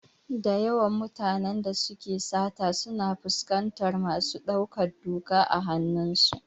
Dayawan mutane da suke sata suna fuskantar masu ɗaukar doka a hanun su.